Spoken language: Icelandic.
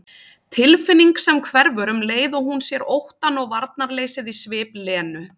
Tilfinning sem hverfur um leið og hún sér óttann og varnarleysið í svip Lenu.